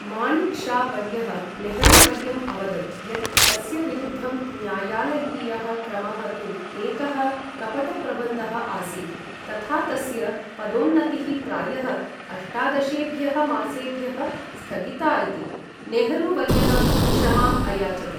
माणिक् शा वर्यः नेहरू वर्यं अवदत् यत् तस्य विरुद्धं न्यायालयीयः क्रमः तु एकः कपटप्रबन्धः आसीत्, तथा तस्य पदोन्नतिः प्रायः अष्टादशेभ्यः मासेभ्यः स्थगिता इति, नेहरू वर्यः क्षमाम् अयाचत।